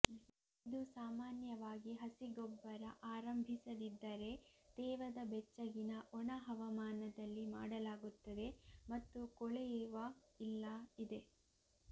ಇದು ಸಾಮಾನ್ಯವಾಗಿ ಹಸಿ ಗೊಬ್ಬರ ಆರಂಭಿಸದಿದ್ದರೆ ತೇವದ ಬೆಚ್ಚಗಿನ ಒಣ ಹವಾಮಾನದಲ್ಲಿ ಮಾಡಲಾಗುತ್ತದೆ ಮತ್ತು ಕೊಳೆಯುವ ಇಲ್ಲ ಇದೆ